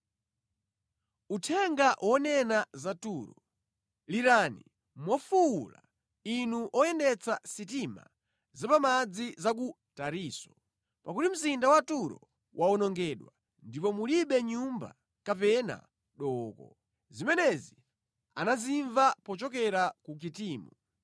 Uthenga wonena za Turo: Lirani mofuwula, inu oyendetsa sitima za pa madzi za ku Tarisisi: pakuti mzinda wa Turo wawonongedwa ndipo mulibe nyumba kapena dooko. Zimenezi anazimva pochokera ku Kitimu.